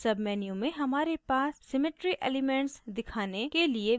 submenu में हमारे पास symmetry elements दिखाने के लिए विकल्प हैं